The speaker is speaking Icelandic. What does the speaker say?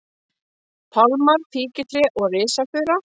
pálmar, fíkjutré og risafura.